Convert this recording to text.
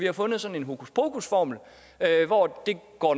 har fundet sådan en hokuspokusformel hvor det